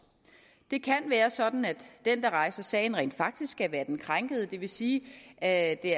det kan være sådan at den der rejser sagen rent faktisk skal være den krænkede det vil sige at det